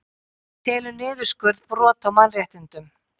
Telur niðurskurð brot á mannréttindum